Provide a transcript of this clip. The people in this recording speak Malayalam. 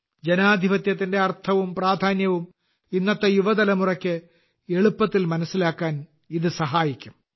ജനാധിപത്യത്തിന്റെ അർത്ഥവും പ്രാധാന്യവും ഇന്നത്തെ യുവതലമുറയ്ക്ക് എളുപ്പത്തിൽ മനസ്സിലാക്കാൻ ഇത് സഹായിക്കും